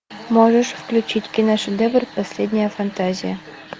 можешь включить киношедевр последняя фантазия